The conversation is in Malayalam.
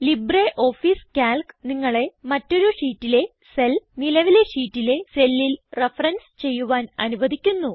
ലിബ്രിയോഫീസ് കാൽക്ക് നിങ്ങളെ മറ്റൊരു ഷീറ്റിലെ സെൽ നിലവിലെ ഷീറ്റിലെ സെല്ലിൽ റഫറൻസ് ചെയ്യുവാൻ അനുവധിക്കുന്നു